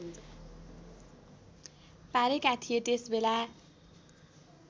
पारेका थिए त्यसबेला